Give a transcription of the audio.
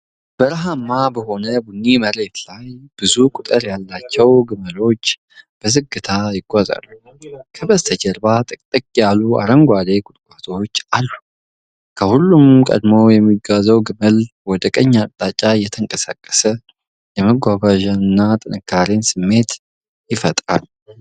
በረሀማ በሆነ ቡኒ መሬት ላይ ብዙ ቁጥር ያላቸው ግመሎች በዝግታ ይጓዛሉ፤ ከበስተጀርባ ጥቅጥቅ ያሉ አረንጓዴ ቁጥቋጦዎች አሉ። ከሁሉም ቀድሞ የሚጓዘው ግመል ወደ ቀኝ አቅጣጫ እየተንቀሳቀሰ፣ የመጓጓዣንና ጥንካሬን ስሜት ይፈጥራል።